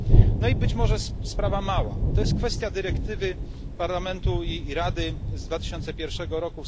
No i być może sprawa mała to jest kwestia dyrektywy Parlamentu i Rady z 2001 r.